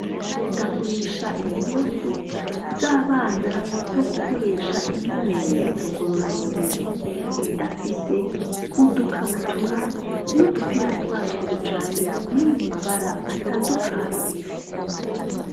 Ndagurisha impuzu, z'abana, zo gukoresha, imyimenyerezo ngororamubiri; ndafise udukabutura, n'udupira twatwo, bijanye, biri mu mabara, atandukanye.